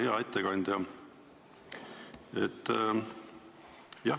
Hea ettekandja!